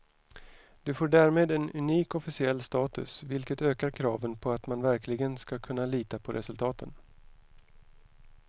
Det får därmed en unik officiell status, vilket ökar kraven på att man verkligen ska kunna lita på resultaten.